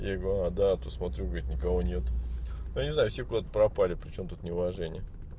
я ей говорю да а то смотрю говорит никого нет я не знаю все куда-то пропали причём тут неуважение